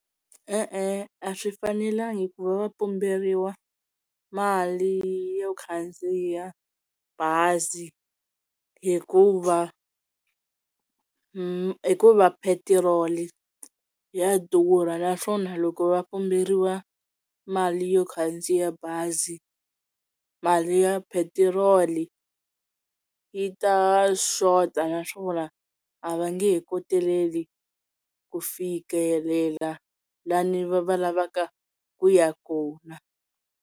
E-e, a swi fanelangi ku va va pumberiwa mali yo khandziya bazi hikuva hikuva phetiroli ya durha naswona loko va pumberiwa mali yo khandziya bazi mali ya phetiroli yi ta xota naswona a va nge he koteleli ku fikelela lani va lavaka ku ya kona.